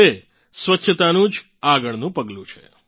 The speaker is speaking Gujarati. તે સ્વચ્છતાનું જ આગળનું પગલું છે